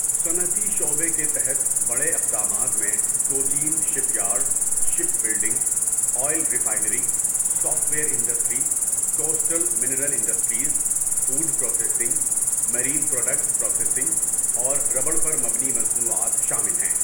صنعتی شعبے کے تحت بڑے اقدامات میں Cochin ship yard, ship building, oil refinery, software industry, coastal mineral industries, food processing, marine products processing اور ربڑ پر مبنی مصنوعات شامل ہیں۔